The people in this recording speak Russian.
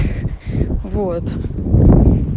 вот